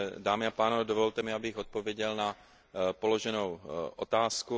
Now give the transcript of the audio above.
Dámy a pánové, dovolte mi, abych odpověděl na položenou otázku.